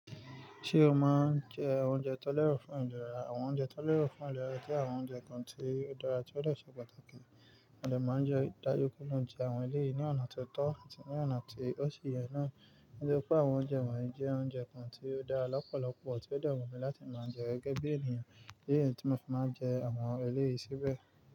Ṣé o máa ń jẹ oúnjẹ tó lẹ́ro fún ìlera? Àwọn oúnjẹ tó lẹ́ro fún ìlera jẹ́ àwọn oúnjẹ kan tí ó dára tí ó de ṣe pàtàkì. Ẹmi máa ń jẹ ń dájú pé mo n jẹ àwọn eléyìí ní ọ̀nà tó tọ́ àti ní ọ̀nà tí ó ṣe yẹ náà. Nítorí pé àwọn oúnjẹ wọ̀nyí jẹ́ oúnjẹ kan tí ó dára lọ́pọ̀lọpọ̀ tí ó dè wún mi láti máa jẹ gẹ́gẹ́ bí ènìyàn. Idí niyí tí mo fi máa ń jẹ àwọn eléyìí síbẹ̀.